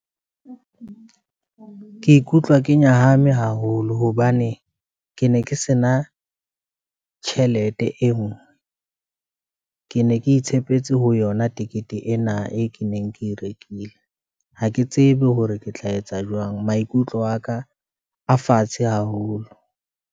Ke ikutlwa ke nyahame haholo, hobane ke ne ke se na tjhelete e nngwe, ke ne ne ke tshepetse ho yona tikete ena, e ke neng ke e rekile, ha ke tsebe hore ke tla etsa jwang. Maikutlo aka a fatshe haholo.